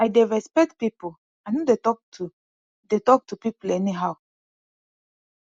i dey respect pipo i no dey tok to dey tok to pipo anyhow